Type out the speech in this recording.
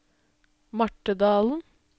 Marthe Dahlen